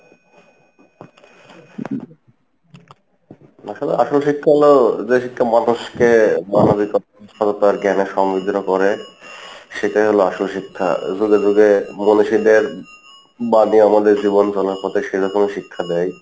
আসলে আসল শিক্ষা হলো যে শিক্ষা মানুষকে সেটাই হলো আসল শিক্ষা যুগে যুগে সেরকমই শিক্ষা দেই,